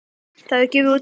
Það hefur gefið út